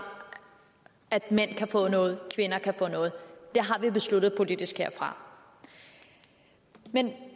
at mænd kan få noget at kvinder kan få noget det har vi besluttet politisk herfra men